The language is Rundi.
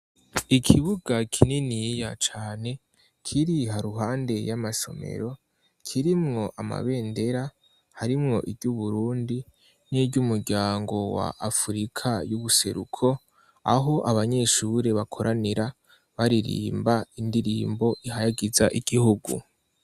Ikibuga kininiya cane, kiri haruhande y'amasomero kirimwo amabendera harimwo ivy'Uburundi n'iry'umuryango wa Afurika y'ubuseruko aho abanyeshure bakoranira baririmba indirimbo ihayagiza igihugu.